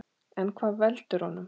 En hvað veldur honum?